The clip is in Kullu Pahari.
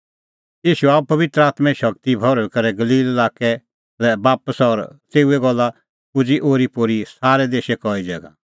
ईशू आअ पबित्र आत्में शगती दी भर्हुई करै गलील लाक्कै लै बापस और तेऊए गल्ला पुजी ओरीपोरी सारै देशै कई ज़ैगा